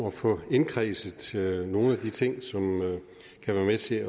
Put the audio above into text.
at få indkredset nogle af de ting som kan være med til at